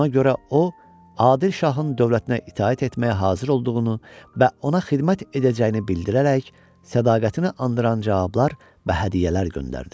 Buna görə o, Adil şahın dövlətinə itaət etməyə hazır olduğunu və ona xidmət edəcəyini bildirərək sədaqətini andıran cavablar və hədiyyələr göndərdi.